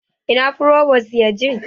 Ina frobos yaje?